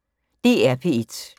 DR P1